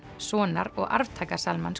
sonar og arftaka